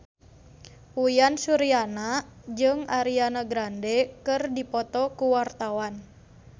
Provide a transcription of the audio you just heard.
Uyan Suryana jeung Ariana Grande keur dipoto ku wartawan